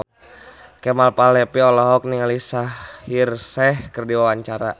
Kemal Palevi olohok ningali Shaheer Sheikh keur diwawancara